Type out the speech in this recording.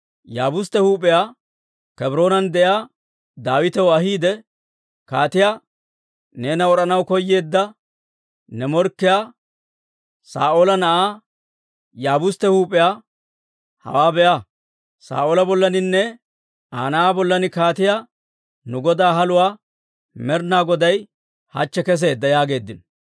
Yaabustte huup'iyaa Kebroonan de'iyaa Daawitew ahiide kaatiyaa, «Neena wod'anaw koyeedda ne morkkiyaa Saa'oola na'aa Yaabustte huup'iyaa hawaa be'a; Saa'oola bollaaninne Aa na'aa bollan kaatiyaa nu godaa haluwaa Med'inaa Goday hachche keseedda» yaageeddino.